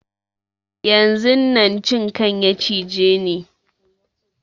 Yanzun nan cinkan ya cije ni